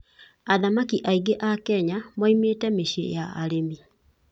Athaki aingĩ a Kenya moimĩte mĩciĩ ya arĩmi.